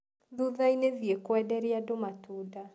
Thutha-inĩ thiĩ kwenderia andũ matunda.